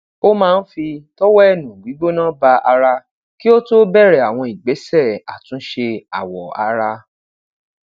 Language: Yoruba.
o maa n fi tọwẹẹnu gbigbona ba ara ki o to bẹrẹ awọn igbesẹ atunṣe awọ ara